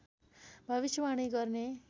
भविष्यवाणी गर्ने